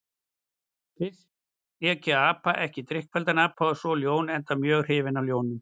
Fyrst lék ég apa, ekki drykkfelldan apa, og svo ljón, enda mjög hrifinn af ljónum.